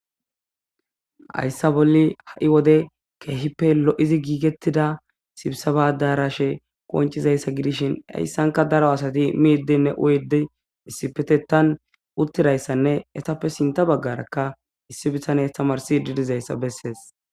hayssa bolli ha7i wode keehippe lo7izi giigettida sibsa badarashe qoncizayssa gidishin heyssanka daro asati miiddenne oyede issipetetan uttidayssanne etappe sinta baggarakka issi bisanes tamarsi didizayssa bessees